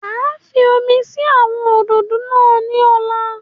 Màá fi omi sí àwọn òdòdó náà ní ọ̀la